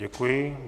Děkuji.